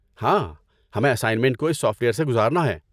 ہاں، ہمیں اسائنمنٹ کو اس سافٹ ویئر سے گزارنا ہے۔